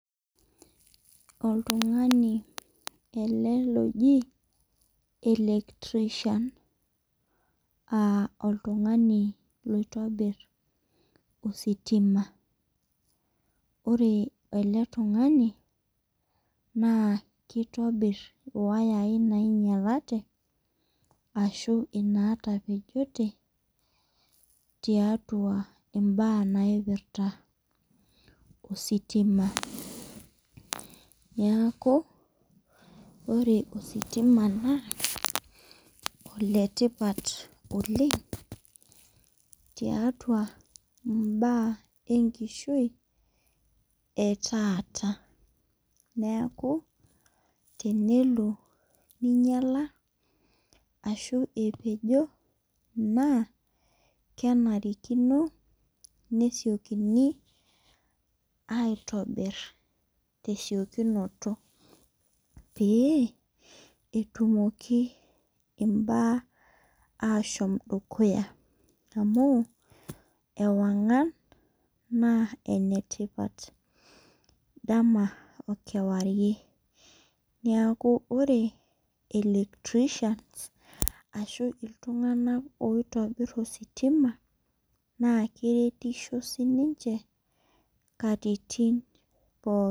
Oltungani ele, loji electrician aa oltungani loitobir ositima. ore ele tungani, naa kitobir iwayai naingialate ashu inaataoejote. tiatua imbaa naipirta ositima .Niko ore ositima naa s ole tipat oleng. tiatha Ibaa enkishui etaata. niaki tenelo ningiala ashu epejo. naa kenarikino nesiokini aitobir tesiokinoto .pee etumoki imbaa ashom dukuya amu ewangan naa enetipat .dama I mewarie. neeku ore electrician ashu iltunganak oitobir ositima naa keretisho sii ninche katitin pookin.